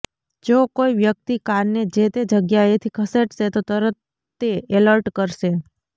જો કોઈ વ્યક્તિ કારને જે તે જગ્યાએથી ખસેડશે તો તરત તે એલર્ટ કરશે